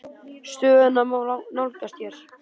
Stöðuna má nálgast hér.